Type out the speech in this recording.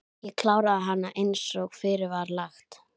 Ég kláraði hana einsog fyrir var lagt.